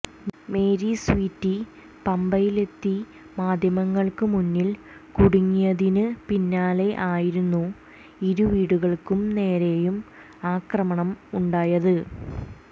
Mary Sweety പമ്പയിലെത്തി മാധ്യമങ്ങൾക്ക് മുന്നിൽ കുടുങ്ങിയതിന് പിന്നാലെ ആയിരുന്നു ഇരു വീടുകൾക്ക് നേരെയും ആക്രമണം ഉണ്ടായത്